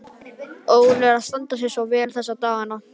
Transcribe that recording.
Óli er að standa sig svo vel þessa dagana.